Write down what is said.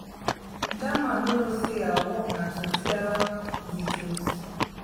dat man no know say our work na to tell the truth